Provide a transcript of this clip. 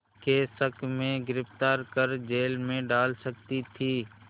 के शक में गिरफ़्तार कर जेल में डाल सकती थी